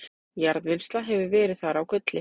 jarðvinnsla hefur verið þar á gulli